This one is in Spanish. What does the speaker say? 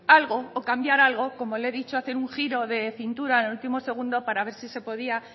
algo o cambiar algo como le he dicho hacer un giro de cintura en el último segundo para ver si se podía